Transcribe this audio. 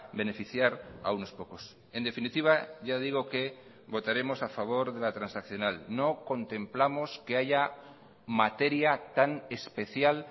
beneficiar a unos pocos en definitiva ya digo que votaremos a favor de la transaccional no contemplamos que haya materia tan especial